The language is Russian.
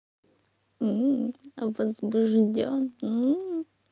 возбуждён